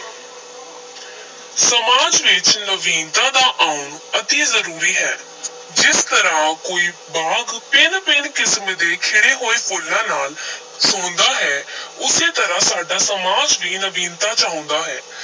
ਸਮਾਜ ਵਿਚ ਨਵੀਨਤਾ ਦਾ ਆਉਣ ਅਤੀ ਜ਼ਰੂਰੀ ਹੈ, ਜਿਸ ਤਰ੍ਹਾਂ ਕੋਈ ਬਾਗ ਭਿੰਨ-ਭਿੰਨ ਕਿਸਮ ਦੇ ਖਿੜੇ ਹੋਏ ਫੁੱਲਾਂ ਨਾਲ ਸੋਹੰਦਾ ਹੈ ਉਸੇ ਤਰ੍ਹਾਂ ਸਾਡਾ ਸਮਾਜ ਵੀ ਨਵੀਨਤਾ ਚਾਹੁੰਦਾ ਹੈ।